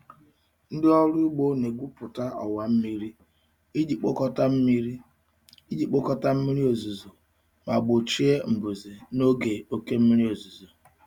Ndị ọrụ ugbo na-egwupụta ọwa mmiri iji kpokọta mmiri iji kpokọta mmiri ozuzo ma gbochie mbuze n'oge oke mmiri ozuzo.